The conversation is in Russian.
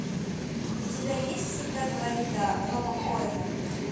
у тебя есть всегда говори да роба коэна